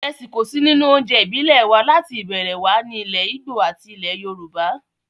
Ìrẹsì kò sí nínú oúnjẹ ìbílẹ̀ wa láti ìbẹ̀rẹ̀ wá ní ilẹ̀ ìgbò àti ilẹ̀ yorùbá